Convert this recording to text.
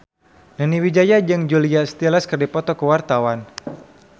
Nani Wijaya jeung Julia Stiles keur dipoto ku wartawan